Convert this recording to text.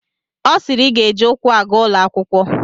Ọ sịịrị I ga-eji ụkwụ aga ụlọ akwụkwọ!